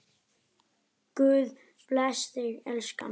Guð blessi þig, elskan.